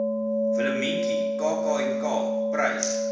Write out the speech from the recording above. willemientjie kknk prys